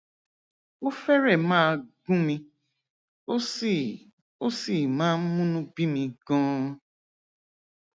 ó fẹrẹẹ máa gún mi ó sì ó sì máa ń múnú bí mi ganan